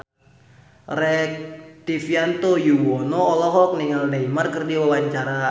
Rektivianto Yoewono olohok ningali Neymar keur diwawancara